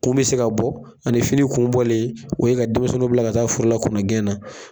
Kun bɛ se ka bɔ ani fini kunbɔlen o ye ka denmisɛnw bila ka taa forola kɔnɔgɛn na.